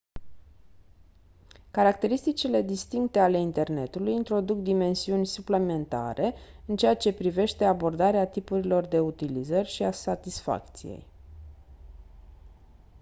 caracteristicile distincte alte internetului introduc dimensiuni suplimentare în ceea ce privește abordarea tipurilor de utilizări și a satisfacției